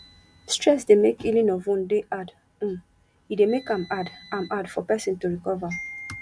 stress dey make healing of wound dey hard um e dey make am hard am hard for person to recover